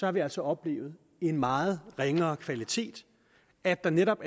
har vi altså oplevet en meget ringere kvalitet at der netop